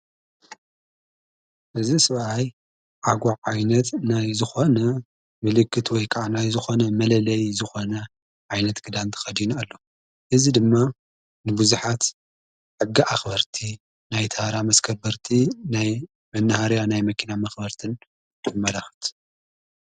እዚ ስብኣይ ዓጓ ዓይነት ናይ ዝኾነ ምልክት ወይከዓናይ ዝኾነ መለለይ ዝኾነ ዓይነት ግዳንቲ ኸድኑ ኣሎ እዝ ድማ ንብዙኃት ኣጊ ኣኽበርቲ ናይ ተራ መከበርቲ ናይ መንሃርያ ናይ መኪና መኽበርትን የመለኽት።